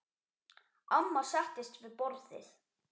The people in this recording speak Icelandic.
Amma settist við borðið.